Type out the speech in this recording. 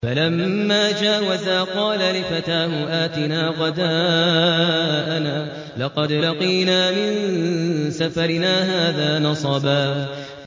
فَلَمَّا جَاوَزَا قَالَ لِفَتَاهُ آتِنَا غَدَاءَنَا لَقَدْ لَقِينَا مِن سَفَرِنَا هَٰذَا نَصَبًا